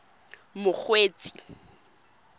mokgweetsi